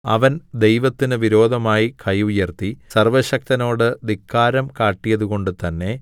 അവൻ ദൈവത്തിന് വിരോധമായി കൈ ഉയർത്തി സർവ്വശക്തനോട് ധിക്കാരം കാട്ടിയതുകൊണ്ടു തന്നെ